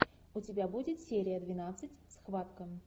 у тебя будет серия двенадцать схватка